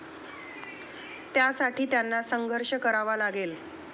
त्यासाठी त्यांना संघर्ष करावा लागेल.